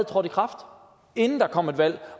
trådt i kraft inden der kom et valg